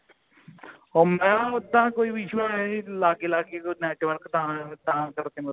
ਉਹ ਮੈਂ ਉਦਹ ਕੋਈ issue ਮੈਂ ਨਹੀਂ ਲੱਗੇ ਲਾਗੇ network ਤਾਂ ਕਰਕੇ ਤਾਂ ਕਰਕੇ ਮਤਲਬ